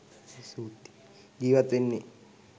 ජීවත් වෙන්නේ.